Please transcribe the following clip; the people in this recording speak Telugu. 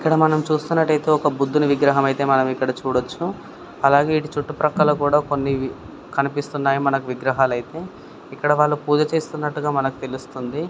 ఇక్కడ మనం చూస్తున్నట్టైతే ఒక బుధుని విగ్రహం అయితే మనం ఇక్కడ చూడొచ్చు అలాగే ఇటు చుట్టు ప్రక్కల కొన్ని కనిపిస్తున్నాయి మనకు విగ్రహాలైతే ఇక్కడ వాళ్ళు పూజ చేస్తున్నట్టుగా మనకు తెలుస్తుంది.